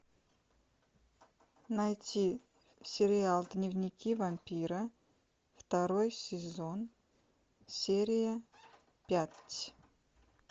найти сериал дневники вампира второй сезон серия пять